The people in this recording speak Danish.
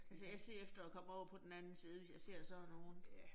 Altså jeg ser efter, at komme over på den anden side, hvis jeg ser sådan nogle